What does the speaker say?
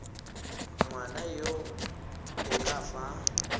ngwana yo o ka fa